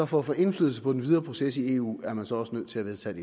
for at få indflydelse på den videre proces i eu er man så også nødt til at vedtage